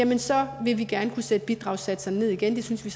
det så vil vi gerne kunne sætte bidragssatserne ned igen det synes vi